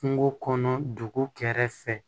Kungo kɔnɔ dugu kɛrɛfɛ